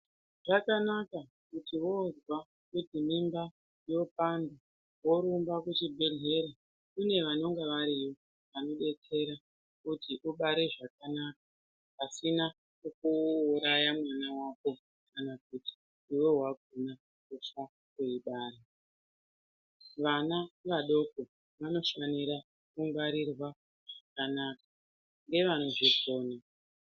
Zvakanaka kuti vozwa kuti mimba yopanda vorumba kuchibhedhleya kune vanonga variyo vanobetsera kuti ubere zvakanaka pasina kukuuraya mwana vako kana kuti iveve vakona kutya kuibara. Vana vadoko vanofanira kungwarirwa zvakanaka ngevanozvikona.